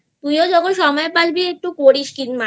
তুই ও যখন সময় পাবি একটু করিস কিন্তু